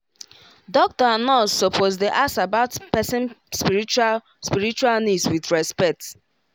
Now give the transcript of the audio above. doctor and nurse suppose dey ask about person spiritual spiritual needs with respect